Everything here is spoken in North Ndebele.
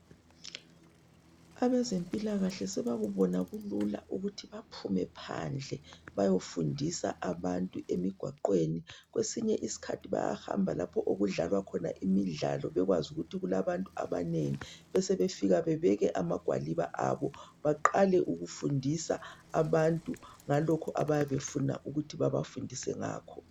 Abezempilakahle sebakubona kulula ukuthi baphume phandle bayefundisa abantu emigwaqweni. Kwesinye isikhathi bayahamba lapho okudlalwa khona imidlalo bekwazi ukuthi kulabantu abanengi besebefika bebeke amagwaliba abo baqale ukufundisa abantu ngalokhu abayabe befuna ukuthi babafundise ngakho.